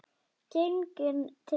Genginn til kirkju.